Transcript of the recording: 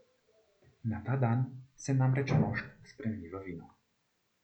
Na ta dan se namreč mošt spremeni v vino.